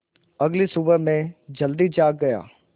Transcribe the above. अगली सुबह मैं जल्दी जाग गया